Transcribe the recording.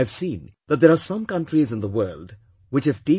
And I have seen that there are some countries in the world which have T